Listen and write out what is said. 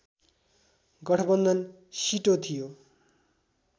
गठबन्धन सिटो थियो